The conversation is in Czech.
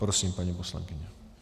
Prosím, paní poslankyně.